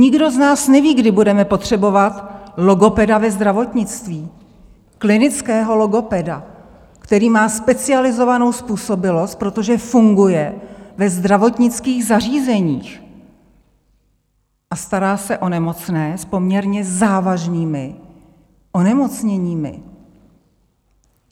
Nikdo z nás neví, kdy budeme potřebovat logopeda ve zdravotnictví, klinického logopeda, který má specializovanou způsobilost, protože funguje ve zdravotnických zařízeních a stará se o nemocné s poměrně závažnými onemocněními.